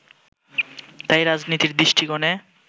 তাই রাজনীতির দৃষ্টিকোণে